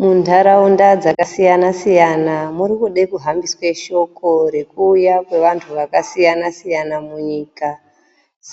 Munharaunda dzakasiyanasiyana murikude kuhambiswe shoko rekuuya kwevanhu vakasiyanasiyana munyika